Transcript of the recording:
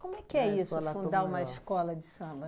Como é que é isso, fundar uma escola de samba?